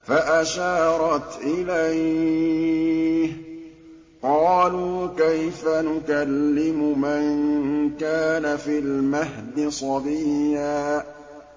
فَأَشَارَتْ إِلَيْهِ ۖ قَالُوا كَيْفَ نُكَلِّمُ مَن كَانَ فِي الْمَهْدِ صَبِيًّا